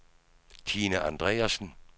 Tine Andreasen